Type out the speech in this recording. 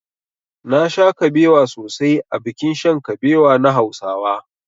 Nasha kabewa sosai a bikin shan kabewa na hausawa.